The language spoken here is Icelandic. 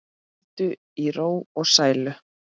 Hvíldu í ró og sælu.